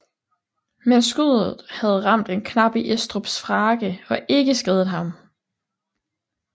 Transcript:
Men skuddet havde ramt en knap i Estrups frakke og ikke skadet ham